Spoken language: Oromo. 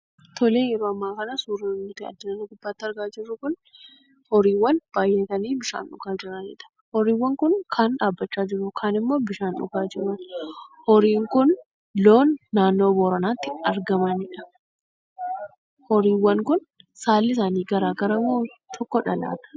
Tolee, yeroo amma akana surri nuti as gubbatti arginu kun, horiiwwan baay'atanii bishaan dhugaa jiraniidha. Horiiwwan kun kaan dhaabbachaa jiru, kaaanimmoo bishaan dhugaa jiru. Horiin kun loon naannoo Booranaatti argamaniidha. Horiiwwan kun saallii isaanii garaagar moo tokkodha laata?